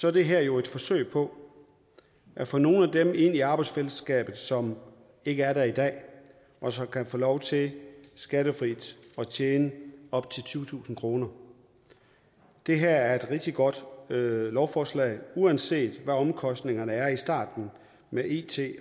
er det her jo et forsøg på at få nogle af dem ind i arbejdsfællesskabet som ikke er der i dag og som kan få lov til skattefrit at tjene op til tyvetusind kroner det her er et rigtig godt lovforslag og uanset hvad omkostningerne er i starten med it